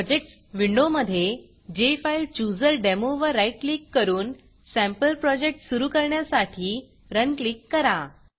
projects विंडोमधे JFileChooserDemo वर right click करून सँपल प्रोजेक्ट सुरू करण्यासाठी Runरन क्लिक करा